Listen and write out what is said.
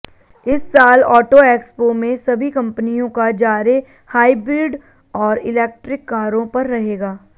इस साल auto expo में सभी कंपनियों का जारे हाइब्रिड और इलेक्ट्रिक कारों पर रहेगा